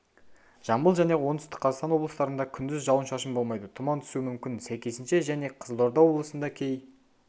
жамбыл және оңтүстік қазақстан облыстарында күндіз жауын-шашын болмайды тұман түсуі мүмкін сәйкесінше және қызылорда облысында кей